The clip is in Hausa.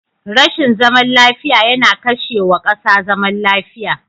Rashin zaman lafiya yana kashe wa kasa zaman lafiya.